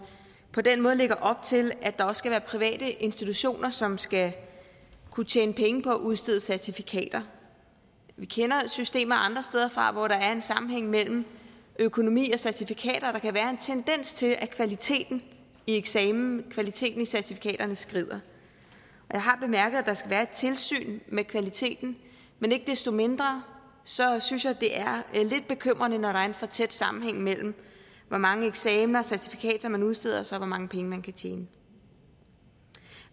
på den måde lægger op til at der også skal være private institutioner som skal kunne tjene penge på at udstede certifikater vi kender systemer andre steder fra hvor der er en sammenhæng mellem økonomi og certifikater og der kan være en tendens til at kvaliteten i eksamenen kvaliteten i certifikaterne skrider jeg har bemærket at der skal være et tilsyn med kvaliteten men ikke desto mindre synes jeg det er lidt bekymrende når der er en for tæt sammenhæng mellem hvor mange eksamener og certifikater man udsteder og så hvor mange penge man kan tjene